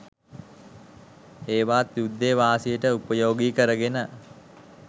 ඒවාත් යුද්ධෙ වාසියට උපයෝගී කරගෙන